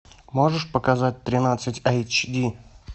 можешь показать тринадцать айч ди